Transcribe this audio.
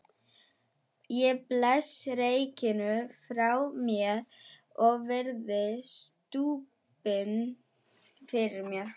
Ég blæs reyknum frá mér og virði stubbinn fyrir mér.